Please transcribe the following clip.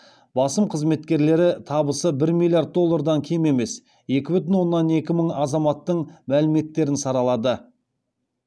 басым қызметкерлері табысы бір миллиард доллардан кем емес екі бүтін оннан екі мың азаматтың мәліметтерін саралады